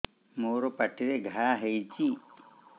ମୋର ପାଟିରେ ଘା ହେଇଚି